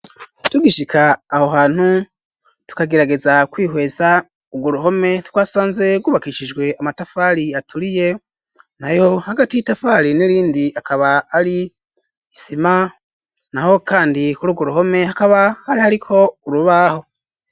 Tugishika aho hantu, tukagerageza kwihweza urwo ruhome, twasanze rwubakishijwe amatafari aturiye, nayo hagati y'itafari n'irindi akaba ari isima; naho kandi kuri urwo ruhome, hakaba hari hariko urubaho.